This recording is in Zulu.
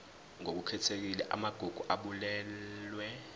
ngokukhethekile amagugu abalulwe